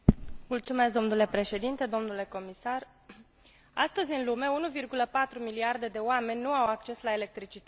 Astăzi, în lume, 1,4 miliarde de oameni nu au acces la electricitate, 85 dintre aceștia trăind în zonele rurale.